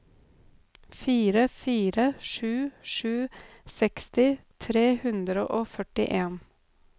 fire fire sju sju seksti tre hundre og førtien